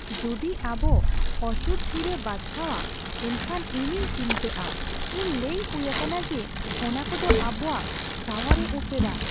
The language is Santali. ᱡᱩᱫᱤ ᱟᱵᱚ ᱚᱥᱩᱫᱷ ᱦᱤᱨᱟᱹ ᱵᱟᱪᱷᱟᱣᱟ ᱮᱱᱠᱷᱟᱱ ᱤᱧᱤᱧ ᱪᱤᱱᱛᱟᱹᱜᱼᱟ ᱾ ᱤᱧ ᱞᱟᱹᱭ ᱦᱩᱭ ᱟᱠᱟᱱᱟ ᱡᱮ ᱚᱱᱟᱠᱚ ᱫᱚ ᱟᱵᱚᱣᱟᱜ ᱥᱟᱶᱟᱨᱮ ᱮᱥᱮᱨᱟ ᱾